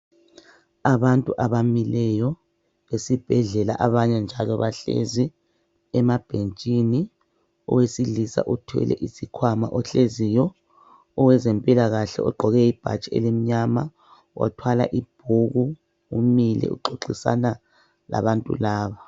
Abantu abamileyo esibhedlela abanye njalo bahlezi emabhentshini. Owesilisa uthwele isikhwama ohleziyo owezempilakahle ogqoke ibhatshi elimnyama wathwala ibhuku umile uxoxisana labantu laba.